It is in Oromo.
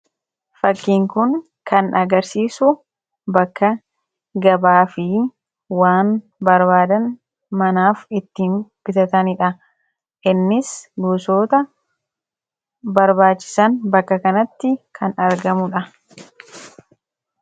fakkiinkun kan agarsiisu bakka gabaa fi waan barbaadan manaaf ittiin bitataniidha innis guusoota barbaachisan bakka kanatti kan argamuudha